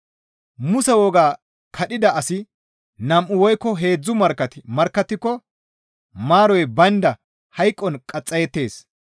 Muse wogaa kadhida asi nam7u woykko heedzdzu markkati markkattiko maaroy baynda hayqon qaxxayettees.